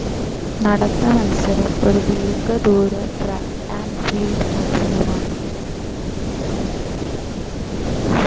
നടത്ത മത്സരം ഒരു ദീർഘ ദൂര ട്രാക്ക്‌ ആൻഡ്‌ ഫീൽഡ്‌ മത്സരമാണ്.